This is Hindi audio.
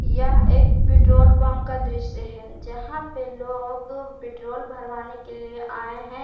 यह एक पेट्रोल पंप का दृश्य है जहाँ पे लोग पेट्रोल भरवाने के लिए आए हैं।